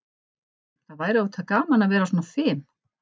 Það væri auðvitað gaman að vera svona fim.